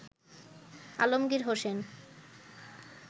Alamgir Hossain